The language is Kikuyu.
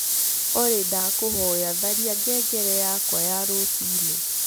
olly ndakuhoya tharĩa ngengere yakwa ya rucĩĩni